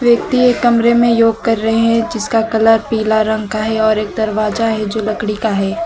व्यक्ति एक कमरे में योग कर रहे है जिसका कलर पीला रंग का है और एक दरवाजा है जो लकड़ी का है।